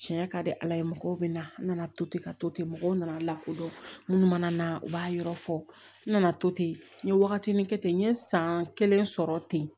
Tiɲɛ ka di ala ye mɔgɔw bɛna to ten ka to ten mɔgɔw nana lakodɔn munnu mana na u b'a yɔrɔ fɔ n nana to ten n ye wagatini kɛ ten n ye san kelen sɔrɔ ten